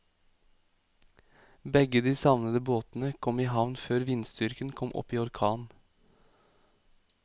Begge de savnede båtene kom i havn før vindstyrken kom opp i orkan.